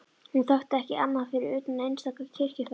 Hún þekkti ekki annað fyrir utan einstaka kirkjuferðir.